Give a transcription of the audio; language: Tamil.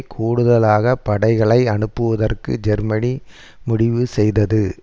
கூடுதலாக படைகளை அனுப்புவதற்கு ஜெர்மனி முடிவு செய்தது